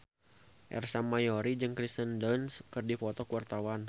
Ersa Mayori jeung Kirsten Dunst keur dipoto ku wartawan